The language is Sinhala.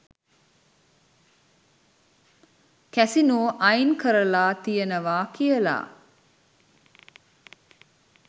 කැසිනෝ අයින් කරලා තියෙනවා කියලා.